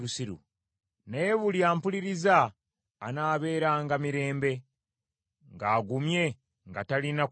naye buli ampuliriza anaabeeranga mirembe, ng’agumye nga talina kutya kwonna.